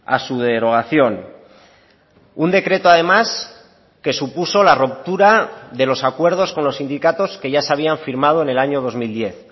a su derogación un decreto además que supuso la ruptura de los acuerdos con los sindicatos que ya se habían firmado en el año dos mil diez